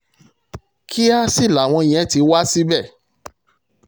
kíá sì làwọn yẹn ti wá síbẹ̀